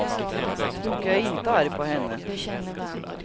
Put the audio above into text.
Och jag är inte arg på henne.